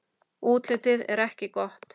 Útlitið er ekki gott.